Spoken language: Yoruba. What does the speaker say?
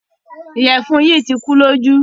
Ìyẹfun yìí tì kùlọ̀jú.